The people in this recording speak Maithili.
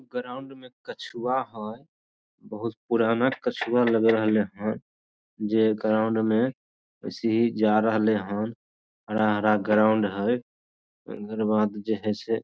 ग्राउंड में कछुआ हेय बहुत पुराना कछुआ लग रहले हेय जे ग्राउंड मे ऐसे ही जा रहले हेय हरा हरा ग्राउंड हेय ओकर बाद जे हेय से --